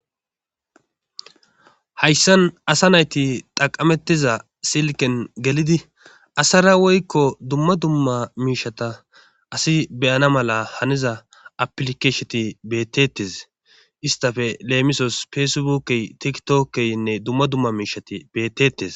Hayssan asa nayti xaqamettiza silken gelidi asara woykko dumma dumma miishata asi beyana mala haniza aplikeesheti bettetes istafe leemisos feesebookey tikitookkeynne dumma dumma miishati bettetes.